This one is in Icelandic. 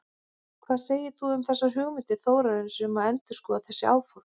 Hvað segir þú um þessar hugmyndir Þórarins um að endurskoða þessi áform?